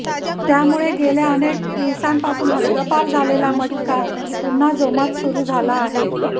त्यामुळे गेल्या अनेक दिवसांपासून हद्दपार झालेला मटका पुन्हा जोमात सुरू झाला आहे